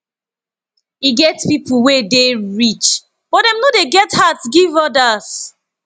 e get pipo wey dey rich but dem no dey get heart give odas